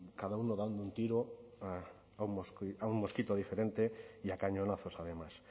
cada uno dando un tiro a un mosquito diferente y a cañonazos además